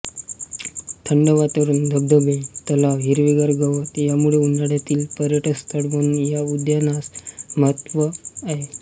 थंड वातावरण धबधबे तलाव हिरवेगार गवत यामुळे उन्हाळयातील पर्यटन स्थळ म्हणून या उद्यानास महत्त्व आहे